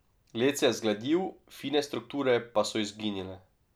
Led se je zgladil, fine strukture pa so izginile.